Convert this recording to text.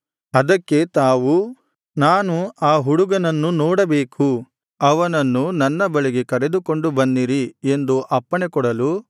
ಅದಕ್ಕೆ ತಾವು ನಾನು ಆ ಹುಡುಗನನ್ನು ನೋಡಬೇಕು ಅವನನ್ನು ನನ್ನ ಬಳಿಗೆ ಕರೆದುಕೊಂಡು ಬನ್ನಿರಿ ಎಂದು ಅಪ್ಪಣೆಕೊಡಲು